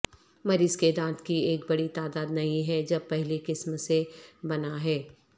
مریض کے دانت کی ایک بڑی تعداد نہیں ہے جب پہلی قسم سے بنا ہے